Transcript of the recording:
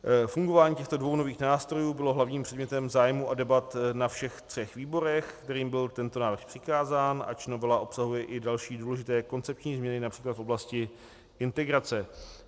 Fungování těchto dvou nových nástrojů bylo hlavním předmětem zájmu a debat na všech třech výborech, kterým byl tento návrh přikázán, ač novela obsahuje i další důležité koncepční změny, například v oblasti integrace.